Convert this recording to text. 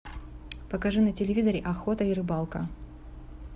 покажи на телевизоре охота и рыбалка